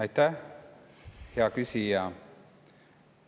Aitäh, hea küsija!